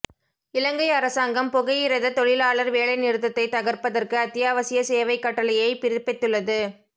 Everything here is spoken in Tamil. இலங்கை அரசாங்கம் புகையிரத தொழிலாளர் வேலை நிறுத்தத்தை தகர்ப்பதற்கு அத்தியாவசிய சேவை கட்டளையை பிறப்பித்துள்ளது